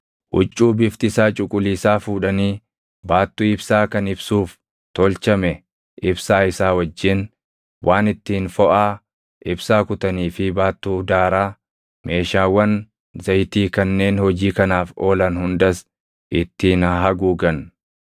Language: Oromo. “Huccuu bifti isaa cuquliisaa fuudhanii baattuu ibsaa kan ibsuuf tolchame ibsaa isaa wajjin, waan ittiin foʼaa ibsaa kutanii fi baattuu daaraa, meeshaawwan zayitii kanneen hojii kanaaf oolan hundas ittiin haa haguugan.